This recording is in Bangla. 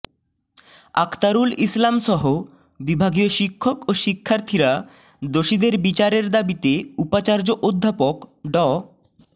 আক্তারুল ইসলামসহ বিভাগীয় শিক্ষক ও শিক্ষার্থীরা দোষীদের বিচারের দাবিতে উপাচার্য অধ্যাপক ড